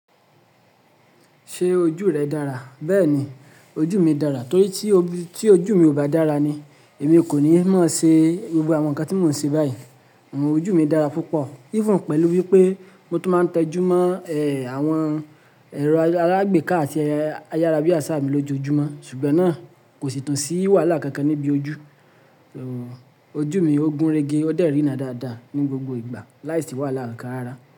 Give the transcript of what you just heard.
Ṣé ojú rẹ dára? Bẹ́ẹ̀ni, ojú mi dára torí tí ojú mi ò bá dára ni èmi kò ní mọ ṣe gbogbo àwọn nǹkan tí mò ń ṣe báyìí. Òun ojú mi dára púpọ̀, even pẹ̀lú wípé mo tún máa ń tẹjúmọ́, ẹ́, àwọn ẹ̀rọ alágbèéká àti ayárábiàsà mi lójoojúmọ́ ṣùgbọ́n náà kò sì tún sí wàhálà kankan níbi ojú. Òun ojú mi ó gúnrégé, ó dẹ́ rìnà dáadáa ní gbogbo ìgbà láìsí wàhálà kankan rárá.